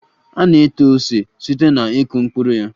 A na-eto ose site na ịkụ mkpụrụ ya